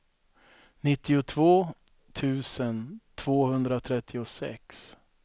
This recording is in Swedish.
nittiotvå tusen tvåhundratrettiosex